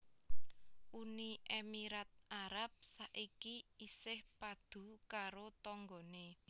Uni Emirat Arab saiki isih padu karo tonggone